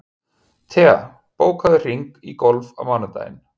Thea, bókaðu hring í golf á mánudaginn.